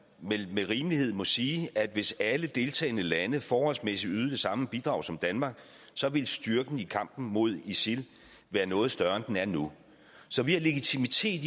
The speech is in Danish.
må vel med rimelighed sige at hvis alle deltagende lande forholdsmæssigt ydede det samme bidrag som danmark ville styrken i kampen mod isil være noget større end den er nu så vi har legitimitet